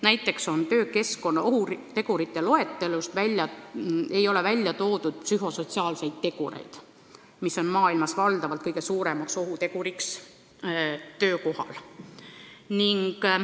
Näiteks, töökeskkonna ohutegurite loetelus ei ole ära toodud psühhosotsiaalseid tegureid, mis on maailmas enamasti kõige suurem ohutegur töökohal.